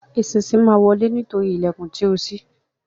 Eṣinṣin má wọle nítorí ìlèkùn tíó sí.